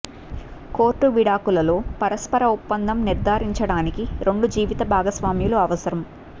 court విడాకులు లో పరస్పర ఒప్పందం నిర్ధారించడానికి రెండు జీవిత భాగస్వాములు అవసరం